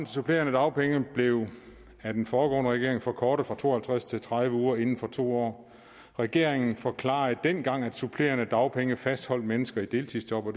supplerende dagpenge blev af den foregående regering forkortet fra to og halvtreds til tredive uger inden for to år den regering forklarede dengang at supplerende dagpenge fastholdt mennesker i deltidsjob